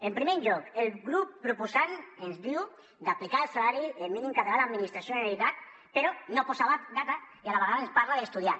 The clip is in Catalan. en primer lloc el grup proposant ens diu d’aplicar el salari mínim català a l’administració de la generalitat però no posa data i a la vegada ens parla d’estudiar